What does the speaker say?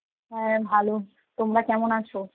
হ্যাঁ ভালো, তোমরা কেমন আছো?